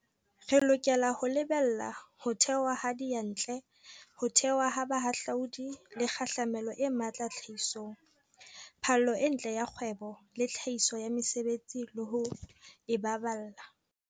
Re lokela ho lebella ho theoha ha diyantle, ho theoha ha bahahlaudi le kgahlamelo e matla tlhahisong, phallo e ntle ya kgwebo le tlhahiso ya mesebetsi le ho e baballa.